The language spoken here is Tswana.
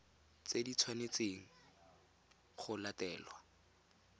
tse di tshwanetsweng go latelwa